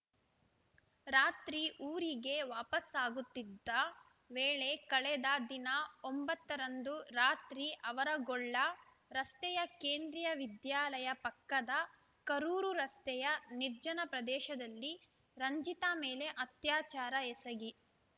ರಾತ್ರಿ ಊರಿಗೆ ವಾಪಾಸ್ಸಾಗುತ್ತಿದ್ದ ವೇಳೆ ಕಳೆದ ದಿನಾಂಕ ಒಂಬತ್ತ ರಂದು ರಾತ್ರಿ ಆವರಗೊಳ್ಳ ರಸ್ತೆಯ ಕೇಂದ್ರಿಯ ವಿದ್ಯಾಲಯ ಪಕ್ಕದ ಕರೂರು ರಸ್ತೆಯ ನಿರ್ಜನ ಪ್ರದೇಶದಲ್ಲಿ ರಂಜಿತಾ ಮೇಲೆ ಅತ್ಯಾಚಾರ ಎಸಗಿ